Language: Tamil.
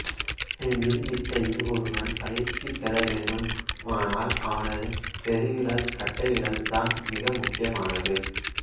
வில் வித்தையில் ஒருவன் பயிற்சி பெறவேண்டுமானால் அவனது பெருவிரல் கட்டைவிரல் தான் மிக முக்கியமானது